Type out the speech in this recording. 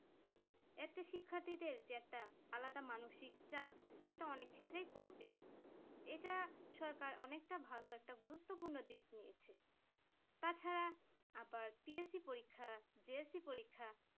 এত শিক্ষার্থী যে একটা আলাদা মানসিক চাপ সেটা অনেক ক্ষেত্রেই কমবে এটা সরকার অনেকটা ভালো একটা গুরুত্বপূর্ণ দিক নিয়েছে। তাছাড়া আবার TSC পরীক্ষা JSC পরীক্ষা